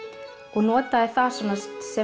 og notaði það svona